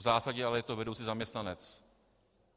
V zásadě to je ale vedoucí zaměstnanec.